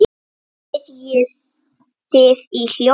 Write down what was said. spyrjið þið í hljóði.